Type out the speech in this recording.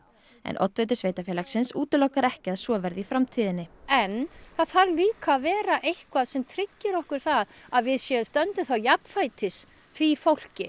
en oddviti sveitarfélagsins útilokar ekki að svo verði í framtíðinni en það þarf líka að vera eitthvað sem tryggir okkur það að við stöndum jafnfætis því fólki